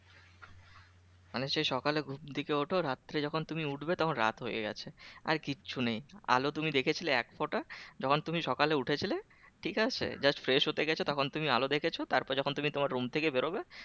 মানে সেই সকালে ঘুম থেকে ওঠো রাত্তিরে যখন তুমি উঠবে তখন রাত হয়ে গেছে আর কিচ্ছু নেই আলো তুমি দেখে ছিলে একফোঁটা যখন তুমি সকালে উঠেছিলে ঠিক আছে just fresh হতে গেছো তখন তুমি আলো দেখেছো তারপর যখন তুমি তোমার room থেকে বেরোবে